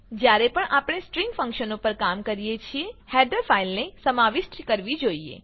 જ્યારે પણ આપણે સ્ટ્રિંગ ફંક્શનો પર કામ કરીએ છીએ હેડર ફાઈલને સમાવિષ્ટ કરવી જોઈએ